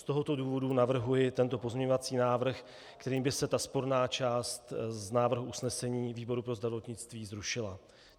Z tohoto důvodu navrhuji tento pozměňovací návrh, kterým by se ta sporná část z návrhu usnesení výboru pro zdravotnictví zrušila.